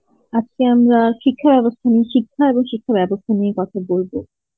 আজকে আমরা শিক্ষা ব্যবস্থা নিয়ে শিক্ষা এবং শিক্ষা ব্যবস্থা নিয়ে কথা বলব